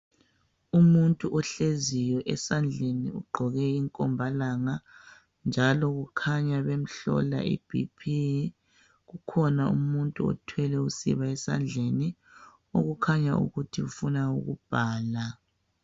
Umuntu ohleziyo esandleni ugqoke inkombalanga njalo kukhanya bemhlola i BP kukhona umuntu othwele usiba esandleni okukhanya ukuthi ufuna ukubhala.